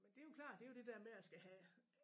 Men det jo klart det jo det der med at skal have